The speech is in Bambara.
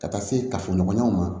Ka taa se kafoɲɔgɔnyaw ma